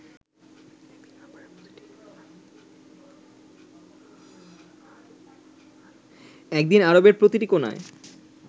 একদিন আরবের প্রতিটি কোণায়